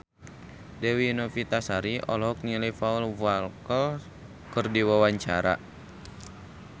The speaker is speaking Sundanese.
Dewi Novitasari olohok ningali Paul Walker keur diwawancara